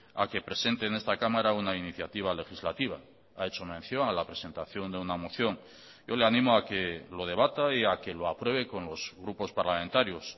a que presente en esta cámara una iniciativa legislativa ha hecho mención a la presentación de una moción yo le animo a que lo debata y a que lo apruebe con los grupos parlamentarios